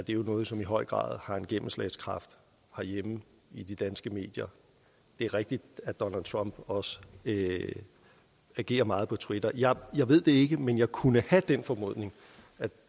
jo noget som i høj grad har en gennemslagskraft herhjemme i de danske medier det er rigtigt at donald trump også agerer meget på twitter jeg jeg ved det ikke men jeg kunne have den formodning